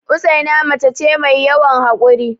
Usaina mace ce mai yawan haƙuri